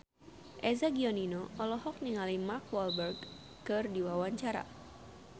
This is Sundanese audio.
Eza Gionino olohok ningali Mark Walberg keur diwawancara